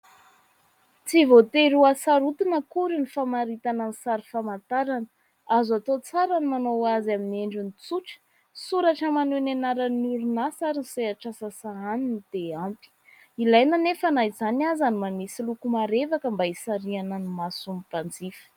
Tsy voatery hasarotina akory ny famaritana ny sary famantarana. Azo atao tsara ny manao azy amin'ny endriny tsotra : soratra maneho ny aranan'ny orinasa ary ny sehatr'asa sahaniny dia ampy. Ilaina anefa na izany aza ny manisy loko marevaka mba hisarihana ny mason'ny mpanjifa.